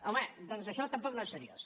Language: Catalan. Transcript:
home doncs això tampoc no és seriós